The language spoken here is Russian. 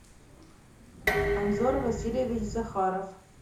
анзор васильевич захаров